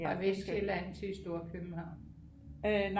Fra Vestsjælland til Storkøbenhavn